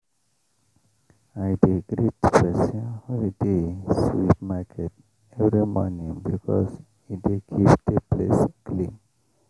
i dey greet persin wey dey sweep market every morning because e dey keep the place clean